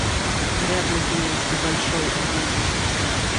рядом тюменский большой драматический театр